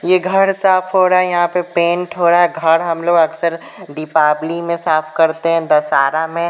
ये घर साफ हो रहा है यहां पे पेंट हो रहा है घर हम लोग अक्सर दिपावली में साफ करते हैं दसारा मे --